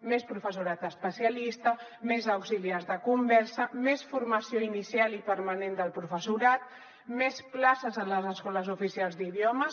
més professorat especialista més auxiliars de conversa més formació inicial i permanent del professorat més places a les escoles oficials d’idiomes